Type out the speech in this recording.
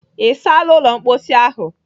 Ị saala ụlọ mkposi ahụ?